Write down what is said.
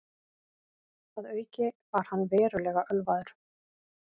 Að auki var hann verulega ölvaður